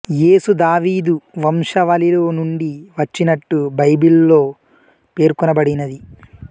యేసు దావీదు వంశావళిలో నుండి వచ్చినట్టు బైబిల్ లో పేర్కొనబడినది